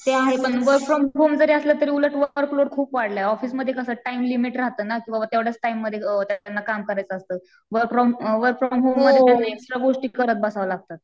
ते आहे पण वर्क फ्रॉम होम जरी असलं तरी उलट वर्क लोड खूप वाढलं ऑफिसमध्ये कसं टाइम लिमिट राहतं ना की बाबा तेवढ्याच टाइम मध्ये त्यांना काम करायचं असतं वर्क फ्रॉम होम मध्ये एक्स्ट्रा गोष्टी कराव्या लागतात.